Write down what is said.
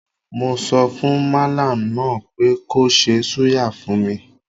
Mo sọfùn mallam náà pé kó ṣe súyà fún mi.